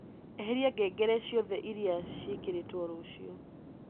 eheria ngengere ciothe iria cirekīrītwo rūcio